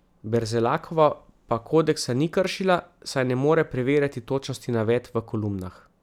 Berzelakova pa kodeksa ni kršila, saj ne more preverjati točnosti navedb v kolumnah.